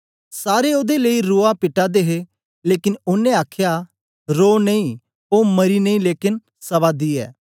सारे ओदे लेई रुआ पिटा दे हे लेकन ओनें आखया रोह नेई ओ मरी नेई लेकन सवा दी ऐ